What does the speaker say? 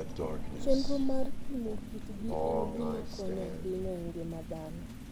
Chenro mar pimo kitgi en gima konyo ahinya e ngima dhano.